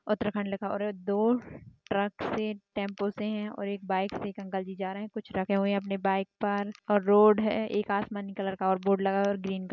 उत्तराखण्ड लिखा हुआ है और दो ट्रक से टेंपो से हैं और एक बाईक से एक अंकल जी जा रहे हैं कुछ रखे हुए हैं अपनी बाईक पर और रोड है एक आसमानी कलर का बोर्ड लगा हुआ है और ग्रीन --